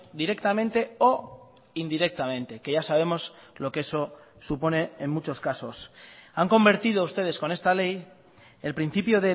directamente o indirectamente que ya sabemos lo que eso supone en muchos casos han convertido ustedes con esta ley el principio